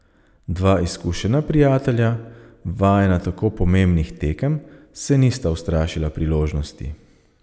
Dva izkušena prijatelja, vajena tako pomembnih tekem, se nista ustrašila priložnosti.